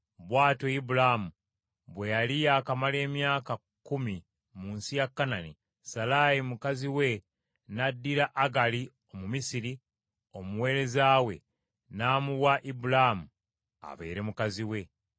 Bw’atyo Ibulaamu bwe yali yaakamala emyaka kkumi mu nsi ya Kanani, Salaayi mukazi we n’addira Agali Omumisiri, omuweereza we n’amuwa Ibulaamu abeere mukazi we.